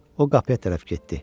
O qapıya tərəf getdi.